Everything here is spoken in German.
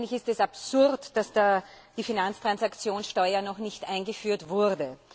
Eigentlich ist es absurd, dass die Finanztransaktionssteuer noch nicht eingeführt wurde.